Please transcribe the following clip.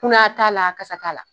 Kunaya t'ala kasa t'a la.